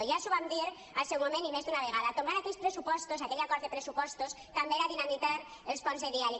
ja els ho vam dir al seu moment i més d’una vegada tombar aquells pressupostos aquell acord de pressupostos també era dinamitar els ponts de diàleg